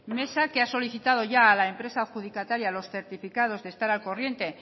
mesa que ha solicitado ya a la empresa adjudicataria los certificados de estar al corriente